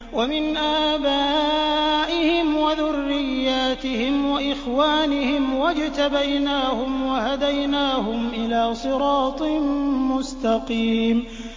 وَمِنْ آبَائِهِمْ وَذُرِّيَّاتِهِمْ وَإِخْوَانِهِمْ ۖ وَاجْتَبَيْنَاهُمْ وَهَدَيْنَاهُمْ إِلَىٰ صِرَاطٍ مُّسْتَقِيمٍ